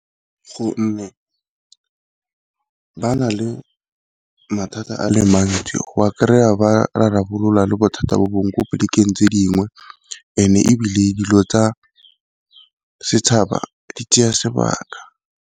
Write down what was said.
Gonne ba na le mathata a le mantsi go ba kry-a ba rarabolola le bothata bo bongwe ko polekeng tse dingwe and-e ebile dilo tsa setšhaba di tsaya sebaka.